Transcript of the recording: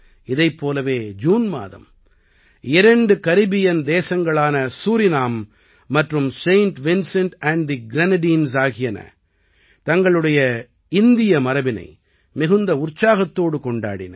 இதைப் போலவே ஜூன் மாதம் இரண்டு கரிபியன் தேசங்களான சூரினாம் மற்றும் Saint Vincent and the Grenadines ஆகியன தங்களுடைய இந்திய மரபினை மிகுந்த உற்சாகத்தோடு கொண்டாடின